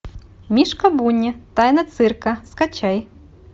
мишка буни тайна цирка скачай